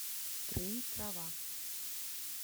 трын трава